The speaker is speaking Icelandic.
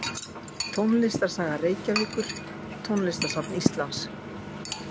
Tónlistarsaga Reykjavíkur Tónlistarsafn Íslands.